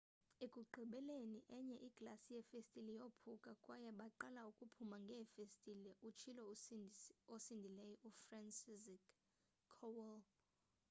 ekugqibeleni enye iglasi yefestile yophuka kwaye baqala ukuphuma ngefestile utshilo osindileyo ufranciszek kowal